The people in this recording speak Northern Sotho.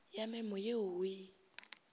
ya memo ye o e